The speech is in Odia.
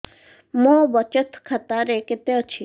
ମୋ ବଚତ ଖାତା ରେ କେତେ ଅଛି